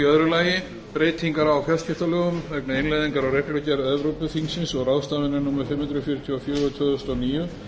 í öðru lagi breytingar á fjarskiptalögum vegna innleiðingar á reglugerð evrópuþingsins og ráðsins númer fimm hundruð fjörutíu og fjögur tvö þúsund og níu